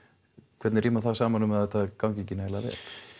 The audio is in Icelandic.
hvernig rímar það saman við að þetta gangi ekki nægilega vel